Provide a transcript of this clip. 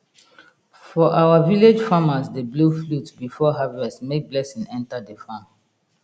for our village farmers dey blow flute before harvest make blessing enter the farm